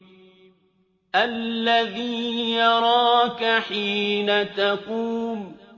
الَّذِي يَرَاكَ حِينَ تَقُومُ